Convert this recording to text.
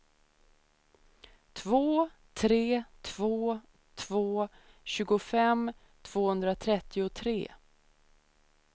två tre två två tjugofem tvåhundratrettiotre